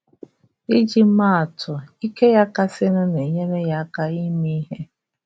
Iji maa atụ, ike ya kasịnụ na-enyere ya aka ime ihe.